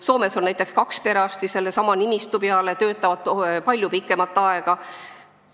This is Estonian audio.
Soomes on näiteks kaks perearsti sama nimistu peale ja nad töötavad palju pikemat aega.